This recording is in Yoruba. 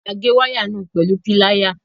A gé waya náà pẹlu Píláyà